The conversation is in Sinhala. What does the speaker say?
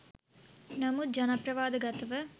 නමුත් ජන ප්‍රවාද ගතව